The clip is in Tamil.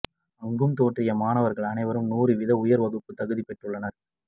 அங்கும் தோற்றிய மாணவர்கள் அனைவரும் நூறு வீதம் உயர்வகுப்புக்குத் தகுதி பெற்றுள்ளனர்